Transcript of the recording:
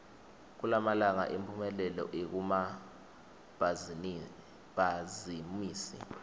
kulamalanga imphumelelo ikumabhazimisi